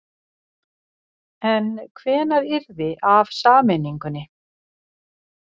En hvenær yrði af sameiningunni?